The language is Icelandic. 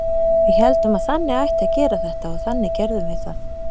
Við héldum að þannig ætti að gera þetta og þannig gerðum við það.